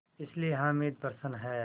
इसलिए हामिद प्रसन्न है